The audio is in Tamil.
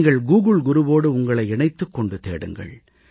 நீங்கள் கூகுள் குருவோடு உங்களை இணைத்துக் கொண்டு தேடுங்கள்